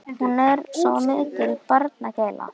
Hún er nú svo mikil barnagæla.